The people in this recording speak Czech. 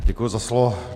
Děkuji za slovo.